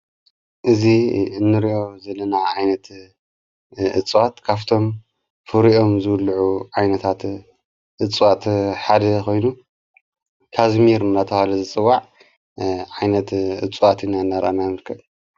እዙ እንርኦ ዘለናዓ ዓይነት እጽዋት ካፍቶም ፍሪኦም ዘውሉዑ ዓይነታት እፅዋት ሓደ ኾይኑ ካዘሚር ናተዋለ ዘጽዋዕ ዓይነት እጽዋት ኢና ነራናንልክል።